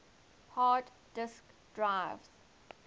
hard disk drives